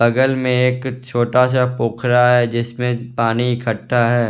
बगल में एक छोटा सा पोखरा है जिसमें पानी इकट्ठा है।